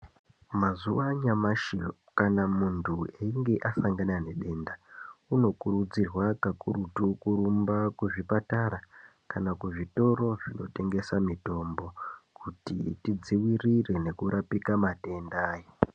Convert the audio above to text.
Mazuva anyamashi kana muntu eyinge asangana ne denda uno kurudzirwa ka kurutu kurumba ku zvipatara kana ku zvitoro zvino tengesa mitombo kuti ti dzivirire neku rapika matenda aya.